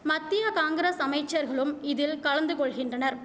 மத்தியா காங்கிரஸ் அமைச்சர்களும் இதில் கலந்து கொள்கின்றனர்